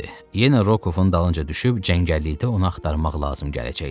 Yenə Rokovun dalınca düşüb cəngəllikdə onu axtarmaq lazım gələcəkdi.